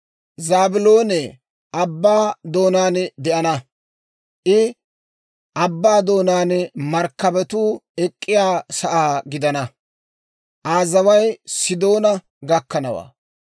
«Zaabiloone abbaa doonaan de'ana; I abbaa doonaan markkabatuu ek'k'iyaa sa'aa gidana; Aa zaway Sidoona gakkanawaa.